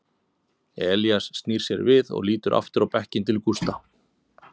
Elías snýr sér við og lítur aftur í bekkinn til Gústa.